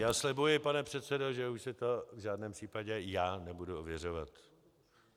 Já slibuji, pane předsedo, že už si to v žádném případě já nebudu ověřovat.